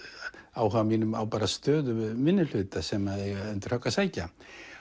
áhuga mínum á stöðu minnihluta sem eiga undir högg að sækja